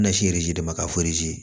Nasi de ma fɔ